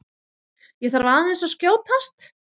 ÉG ÞARF AÐEINS AÐ SKJÓTAST!